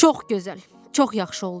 Çox gözəl, çox yaxşı oldu.